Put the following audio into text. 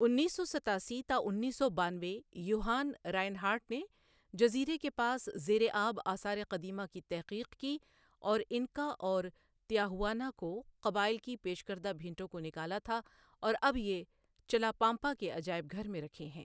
انیس سو ستاسی تا انیس سو بانوے یوہان رائنہارٹ نے جزیرے کے پاس زیرِ آب آثارِ قدیمہ کی تحقیق کی اور انکا اور تیاہواناکو قبائل کی پیش کردہ بھینٹوں کو نکالا تھا اور اب یہ چلاپامپا کے عجائب گھر میں رکھے ہیں